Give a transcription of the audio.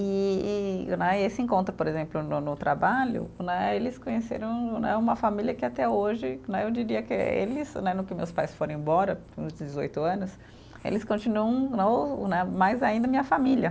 E e né, e esse encontro, por exemplo, no no trabalho né, eles conheceram né, uma família que até hoje né, eu diria que eles né, no que meus pais foram embora, uns dezoito anos, eles continuam no né, mais ainda, minha família.